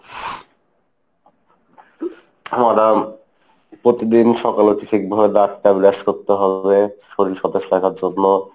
আমরা প্রতিদিন সকালে উঠে ঠিকভাবে দাঁতটা ব্রাশ করতে হবে। শরীর সতেজ থাকার জন্য।